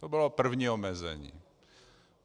To bylo první omezení.